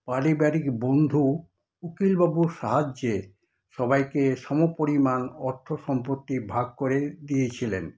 পারিবারিক বন্ধু উকিল বাবুর সাহায্যে সবাইকে সমপরিমাণ অর্থ সম্পত্তি ভাগ করে দিয়েছিলেন।